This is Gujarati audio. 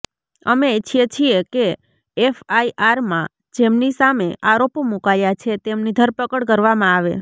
અમે ઇચ્છીએ છીએ કે એફઆઇઆરમાં જેમની સામે આરોપો મુકાયા છે તેમની ધરપકડ કરવામાં આવે